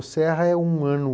O Serra é um ano